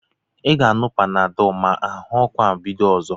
I ga-aṅụ Panadọl ma ahụọku ahụ bido ọzọ?